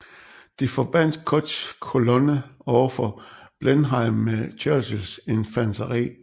De forbandt Cutts kolonne overfor Blenheim med Churchills infanteri